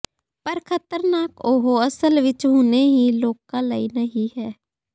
ਪਰ ਖ਼ਤਰਨਾਕ ਉਹ ਅਸਲ ਵਿੱਚ ਹੁਣੇ ਹੀ ਲੋਕ ਲਈ ਨਹੀ ਹੈ